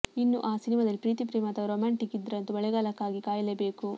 ಇನ್ನೂ ಆ ಸಿನಿಮಾದಲ್ಲಿ ಪ್ರೀತಿ ಪ್ರೇಮ ಅಥವಾ ರೊಮ್ಯಾಂಟಿಕ್ ಇದ್ರಂತೂ ಮಳೆಗಾಲಕ್ಕಾಗಿ ಕಾಯಲೇ ಬೇಕು